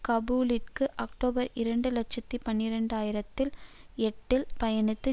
காபூலிற்கு October இரண்டு இலட்சத்தி பனிரண்டு ஆயிரத்தி எட்டில் பயணித்து